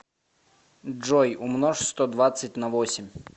джой умножь сто двадцать на восемь